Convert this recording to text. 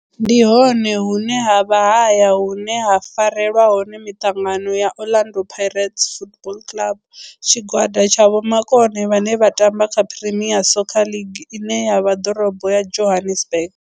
Ndi hone hune havha haya hune ha farelwa hone mitangano ya Orlando Pirates Football Club. Tshigwada tsha vhomakone vhane vha tamba kha Premier Soccer League ine ya vha ḓorobo ya Johannesburg.